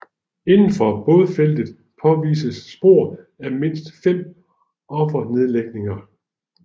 Indenfor bådfeltet påvistes spor af mindst fem offernedlægninger